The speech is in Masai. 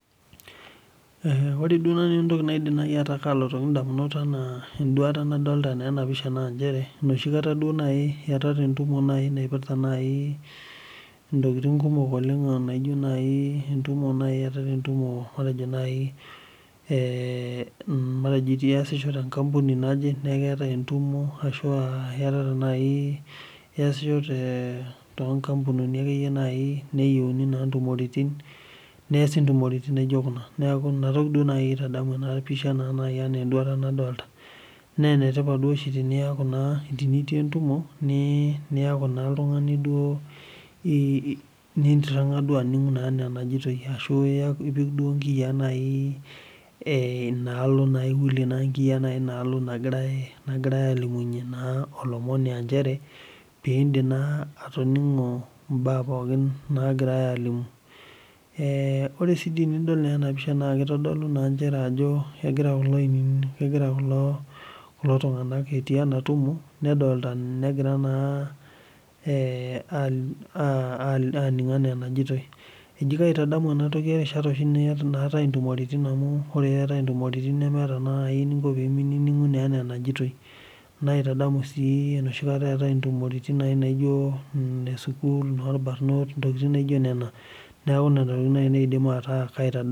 Ore duo nanu entoki nalotu edamunot tenadol ena pisha naa enoshi kata eyatata entumo naaji ntokitin kumok naaji eyatata entumo matejo eyasisho tee nkampuni naje neeku eyatata entumo eyasisho too nkampunini neoshi ntumoritin naijio Kuna neeku ena toki naaji aitadamu empisha naaji ena enduata nadolita naa enetipat duo teniyieu entumo neeku naa oltung'ani ninitiriga anig anajoito ashu epik nkiyia enaalo ashu ewulie nkiyia enaalo nagirai alimunye olomoni pidim naa atoningo mbaa pookin nagirai alimu ore sii tenidol ena pisha naa kitodolu njere kegira kulo tung'ana etii enatumo negira naa aininig enajoitoi ekaitadamu ena toki erishata oshi naatai ntumoritin amu meeta sii eninko pee mininig enaa enajoitoi naitadamu sii enoshi kataa etae ntumoritin ee sukuul noo irbarnot ntokitin naijio Nena neeku Nena tokitin naaji nanu aidim ataa kaitadamu